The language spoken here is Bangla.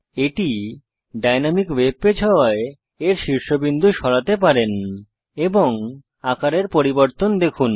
এটি ডাইনামিক ওয়েব পেজ হওয়ায় এর শীর্ষবিন্দু সরাতে পারেন এবং আকারের পরিবর্তন দেখুন